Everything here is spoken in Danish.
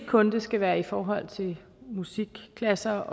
kun skal være i forhold til musikklasser